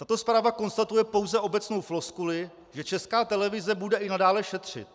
Tato zpráva konstatuje pouze obecnou floskuli, že Česká televize bude i nadále šetřit.